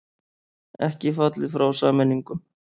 Ekki fallið frá sameiningum